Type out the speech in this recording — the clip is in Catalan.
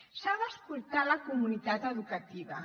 s’ha d’escoltar la comunitat educativa